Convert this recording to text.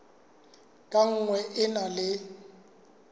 ka nngwe e na le